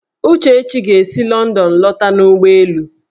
Uchechi ga-esi Lọndọn lọta n'ụgbọelu